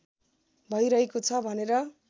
भइरहेको छ भनेर